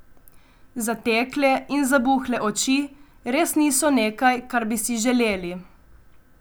Zatekle in zabuhle oči res niso nekaj, kar bi si želeli.